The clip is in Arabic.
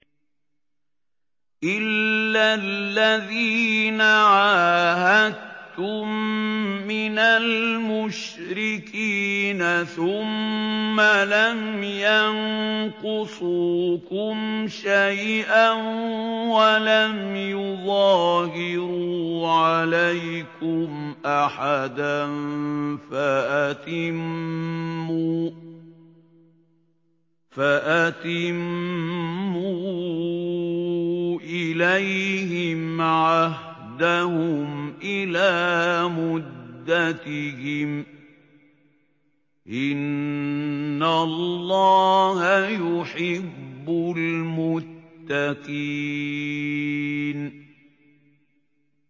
إِلَّا الَّذِينَ عَاهَدتُّم مِّنَ الْمُشْرِكِينَ ثُمَّ لَمْ يَنقُصُوكُمْ شَيْئًا وَلَمْ يُظَاهِرُوا عَلَيْكُمْ أَحَدًا فَأَتِمُّوا إِلَيْهِمْ عَهْدَهُمْ إِلَىٰ مُدَّتِهِمْ ۚ إِنَّ اللَّهَ يُحِبُّ الْمُتَّقِينَ